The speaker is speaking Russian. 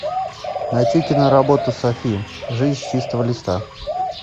найти киноработу софи жизнь с чистого листа